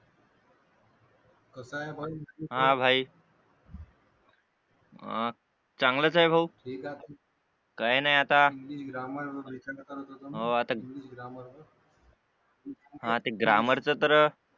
कसा आहे भाई हा भाई चांगला तर आहे भाऊ हे नाही आता ग्रामर च तर